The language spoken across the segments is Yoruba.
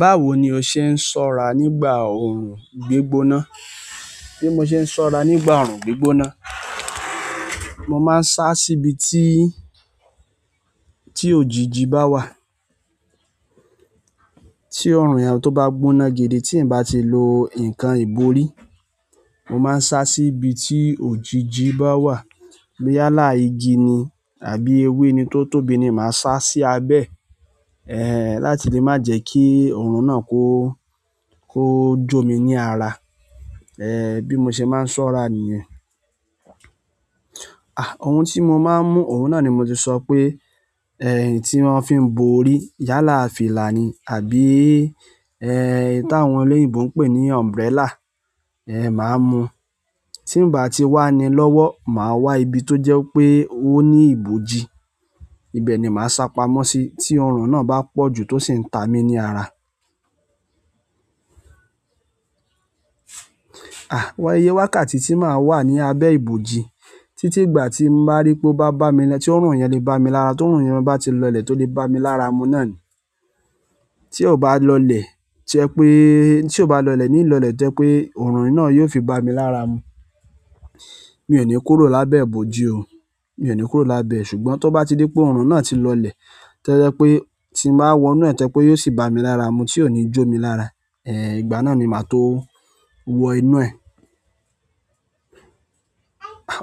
Báwo ni o ṣe ń ṣọ́ra nígbà òòrùn gbígbóná? Bí mo ṣe ń ṣọ́ra nígbà òòrùn gbígbóná, mo máa ń sá síbi tí, tí òjìji bá wà. Tí òòrùn yen tó bá gbóná gidi tí n bá ti lo nǹkan ìbòrí, mo máa ń sá síbi tí òjìji bá wà. Yálà igi ni, àbí ewé ni tó tóbi ni máa sá sí abẹ́, eh, láti lé má jẹ kí òòrùn náà kó, kó jó mi ní ara. Eh, bí mo ṣe máa ń ṣọ́ra nìyẹn. À, ohun tí mo máa ń mú òun náà ni mo ti sọ pé, ẹ́h, tí wọ́n fi ń bo orí. Yálà fìlà ni àbí, ẹ́h, èyí tí àwọn olóyìnbo ń pè ní umbrella, eh, màá mú. Tí n bá ti wá ni lọ́wọ́, màá wá ibi tó jẹ́ pé ó ní ibòji, ibẹ̀ ni màá sá pamọ́ sí tí òòrùn náà bá pọ̀ ju tó sì ń ta mí ní ara. À, wá iyé wákàtí tí màá wà ní abẹ́ ìbòji títí ìgbà tí n ba rí pé ó bá bá mi ni, tí òòrùn yẹn lé bá mi lára, tí òòrùn yẹn bá ti lọlẹ̀ tó lè bá mi lára mu náà ni. Tí ò bá lọlẹ̀ jẹ pé, tí o bá lọlẹ̀ ní lọlẹ̀ to jẹ pé òòrùn náà yóò fi bá mi lára mu. Mi ò ní kúrò lábẹ́ ìbòji o, mi ò ní kúrò lábẹ́ ẹ̀. Ṣùgbọ́n to bá ti dé pé òòrùn náà ti lọlẹ̀, to je pé tí n bá wọ inú ẹ̀ to je pé yóò sì bá mi lára mu tí o ni jó mi lára, eh, ìgbà náà ni màá tó wọ inú ẹ̀.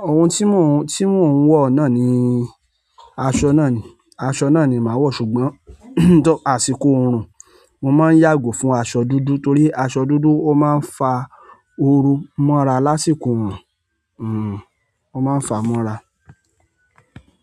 Oun ti mo n wo náà ni, aṣọ náà ni, aṣọ náà ni maa wo. Ṣùgbọ́n, àsìkò oorun, mo ma n yago fún aṣọ dúdú torí aṣọ dúdú o ma n fa ooru mora lásìkò oorun hmm, ó máa ń fa mọ́ra.